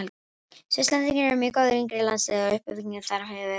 Svisslendingar eru með góð yngri landslið og uppbyggingin þar hefur verið frábær.